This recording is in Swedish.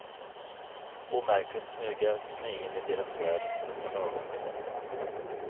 Omärkligt smyger jag mig in i deras värld för ett par dagar.